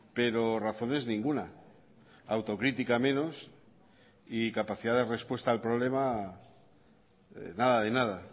pero razones ninguna autocrítica menos y capacidad de respuesta al problema nada de nada